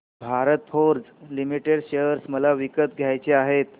Bharat Forge Limited share मला विकत घ्यायचे आहेत